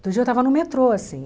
Outro dia eu estava no metrô, assim.